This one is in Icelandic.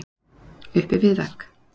Uppi við vegg